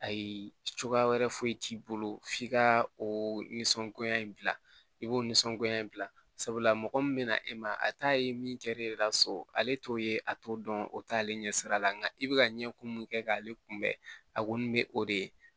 Ayi cogoya wɛrɛ foyi t'i bolo f'i ka o nisɔngoya i b'o nisɔngoya in bila sabula mɔgɔ min bɛna e ma a t'a ye min kɛra e yɛrɛ la so ale t'o ye a t'o dɔn o t'ale ɲɛ sira la nka i bɛ ka ɲɛ ko min kɛ k'ale kunbɛ a kɔni bɛ o de ye